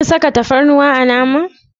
Kin saka tafarnuwa a naman.